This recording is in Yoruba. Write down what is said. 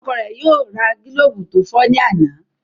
Ọkọ rẹ yóò ra gilobu to fọ ní àna.